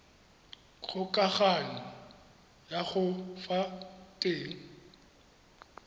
kgokagano ya ka fa teng